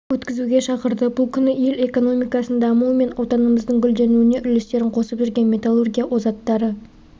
өткізуге шақырды бұл күні ел экономикасының дамуы мен отанымыздың гүлденуіне үлестерін қосып жүрген металлургия озаттары